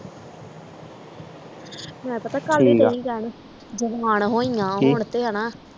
ਮੈਂ ਪਤਾ ਕੱਲ ਦੀ ਆ ਹੌਈ ਆ ਹੁਣ ਤੇ ਆ ਨਾ